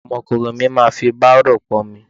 Ọmọkùnrin mi máa fi bárò pọ́nmi.